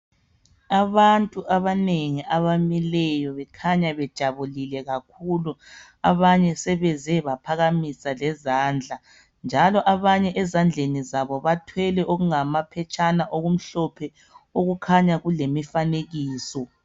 Abantu abanengi abamileyo bekhanya bejabulile kakhulu abanye sebeze baphakamisa lezandla njalo abanye ezandleni zabo bathwele okungamaphetshana okumhlophe okukhanya kulemifanekiso.